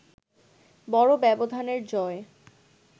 বড় ব্যবধানের জয়